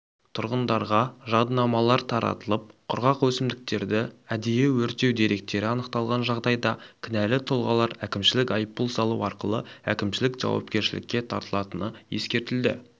тұрғындарға жадынамалар таратылып құрғақ өсімдіктерді әдейі өртеу деректері анықталған жағдайда кінәлі тұлғалар әкімшілік айыппұл салу арқылы әкімшілік жауапкершілікке тартылатыны ескертілді